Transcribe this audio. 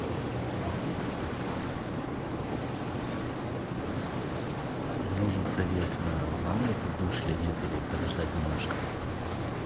нужен совет вламываться в душ или нет или подождать немножко